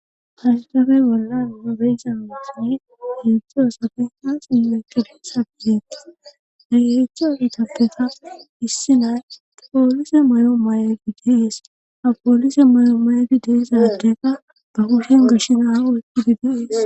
Hashdafey bolla nobeysa motine heedzdzi oosafe haasimekebisa gidettis dayheechcho hitappeta issi nay poolise mayo may7agidees ha poolise mayo may7agi deesadeka ba kushen gashinaa weqqidideees